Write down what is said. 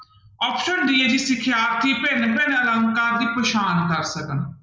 Option d ਹੈ ਜੀ ਸਿਖਿਆਰਥੀ ਭਿੰਨ ਭਿੰਨ ਅਲੰਕਾਰ ਦੀ ਪਛਾਣ ਕਰ ਸਕਣ।